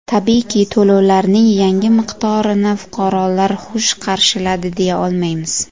Tabiiyki, to‘lovlarning yangi miqdorini fuqarolar xush qarshiladi, deya olmaymiz.